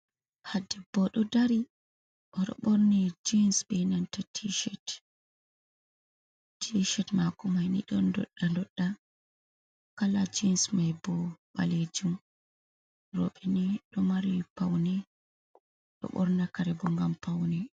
Ha debbo ɗo dari "oɗo ɓorni jins be nanta ti shet. T shet mako may ni ɗon doɗɗa doɗɗa, kala jins mai bo ɓalejum. Roɓe ni ɗo mari paune ɗo ɓorna karebo gam paune.